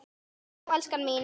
Já, elskan mín!